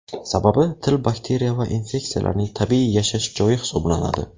Sababi til bakteriya va infeksiyalarning tabiiy yashash joyi hisoblanadi.